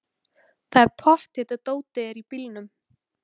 Það er pottþétt að dótið er í bílnum!